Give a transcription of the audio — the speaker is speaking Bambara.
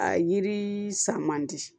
A yiri san man di